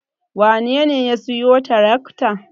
Wanene ya siyo tirakta?